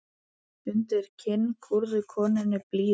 Undir kinn kúrðu konunni blíðu.